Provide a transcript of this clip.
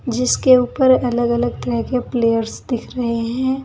जिसके ऊपर अलग अलग तरह के प्लेयर्स दिख रहे हैं।